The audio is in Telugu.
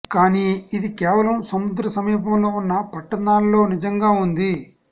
కానీ ఇది కేవలం సముద్ర సమీపంలో ఉన్న పట్టణాల్లో నిజంగా ఉంది